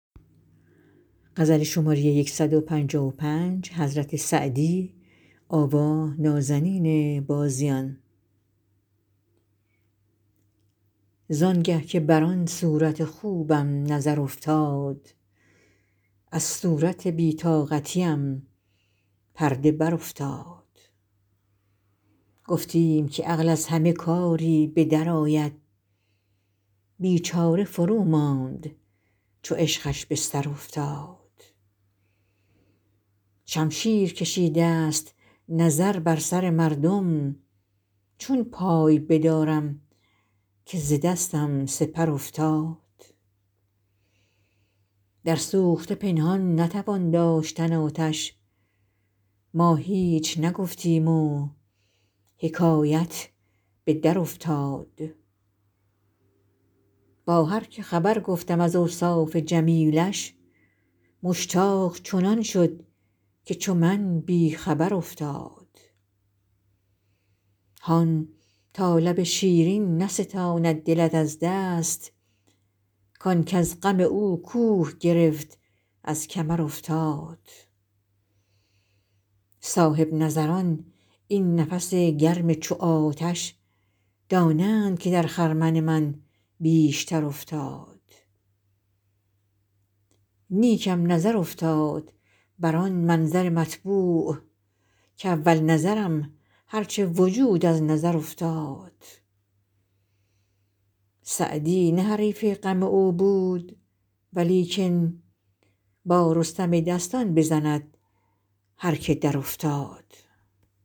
زان گه که بر آن صورت خوبم نظر افتاد از صورت بی طاقتیم پرده برافتاد گفتیم که عقل از همه کاری به درآید بیچاره فروماند چو عشقش به سر افتاد شمشیر کشیدست نظر بر سر مردم چون پای بدارم که ز دستم سپر افتاد در سوخته پنهان نتوان داشتن آتش ما هیچ نگفتیم و حکایت به درافتاد با هر که خبر گفتم از اوصاف جمیلش مشتاق چنان شد که چو من بی خبر افتاد هان تا لب شیرین نستاند دلت از دست کان کز غم او کوه گرفت از کمر افتاد صاحب نظران این نفس گرم چو آتش دانند که در خرمن من بیشتر افتاد نیکم نظر افتاد بر آن منظر مطبوع کاول نظرم هر چه وجود از نظر افتاد سعدی نه حریف غم او بود ولیکن با رستم دستان بزند هر که درافتاد